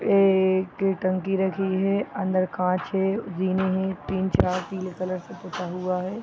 एक टंकी रखी है | अंदर कांच है हैं तीन चार पिले कलर से पूता हुआ है।